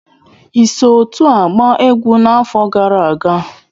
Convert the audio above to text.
Ị so otu a gbaa egwu n'afọ gara aga?